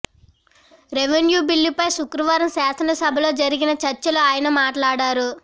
revenue బిల్లుపై శుక్రవారం శాసనసభలో జరిగిన చర్చ లో ఆయన మాట్లాడారు